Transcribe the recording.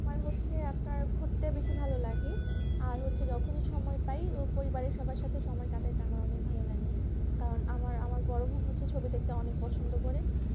আমার হচ্ছে আপনার ঘুরতে বেশি ভালো লাগে আর হচ্ছে যখনি সময় পাই